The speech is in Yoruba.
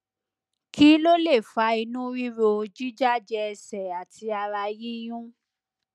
kí ló lè fa inú ríro jíjájẹ ẹsẹ àti ara yíyún